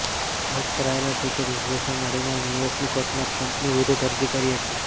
block કરાયેલા Twitter યુઝર્સે મળીને ન્યૂયોર્કની કોર્ટમાં ટ્રમ્પની વિરૃદ્ધમાં અરજી કરી હતી